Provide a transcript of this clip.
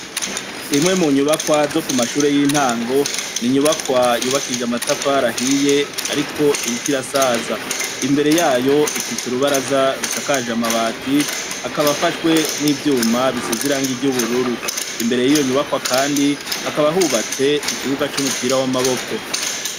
Imwe mu nyubakwa zo kumashure y'intango, n'inyubakwa yubakishije amatafari ahiye ariko iriko irasaza, imbere yayo ifise urubaraza rusakaje amabati akaba afashwe n'ivyuma bisize irangi ry'ubururu, imbere yiyo nyubakwa kandi hakaba hubatse ikibuga c'umupira w'amaboko.